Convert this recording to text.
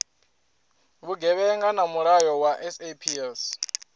vhugevhenga na mulayo wa saps